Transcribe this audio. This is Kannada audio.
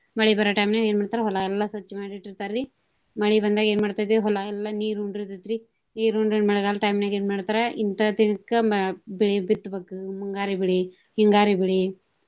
ಮಳಿ ಬರೋ time ನ್ಯಾಗ ಏನ ಮಾಡ್ತಾರ ಹೊಲಾ ಎಲ್ಲಾ ಸ್ವಚ್ಛ ಮಾಡಿ ಇಟ್ಟಿರ್ತಾರಿ. ಮಳಿ ಬಂದಾಗ ಏನ ಮಾಡ್ತೇತಿ ಹೊಲಾ ಎಲ್ಲಾ ನೀರ ಉಂಡಿರ್ತೆತ್ರಿ. ನೀರ ಉಂಡ್ರ ಇನ ಮಳೆಗಾಲದ time ನ್ಯಾಗ ಏನ ಮಾಡ್ತಾರ ಇಂತಾ ದಿನಕ್ ಬೆಳಿ ಬಿತ್ತಬೇಕು ಮುಂಗಾರಿ ಬೆಳಿ, ಹಿಂಗಾರಿ ಬೆಳಿ.